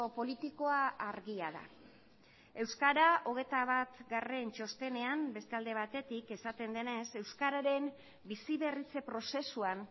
politikoa argia da euskara hogeita bat txostenean beste alde batetik esaten denez euskararen bizi berritze prozesuan